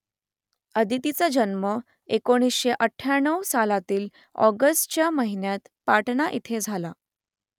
अदितीचा जन्म एकोणीसशे अठ्ठ्याण्णव सालातील ऑगस्ट या महिन्यात पाटणा इथे झाला